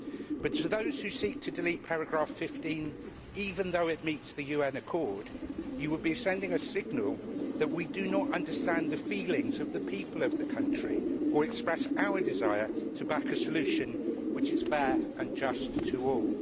But to those who seek to delete paragraph 15 even though it meets the UN accord you would be sending a signal that we do not understand the feelings of the people of the country or express our desire to back a solution which is fair and just to all.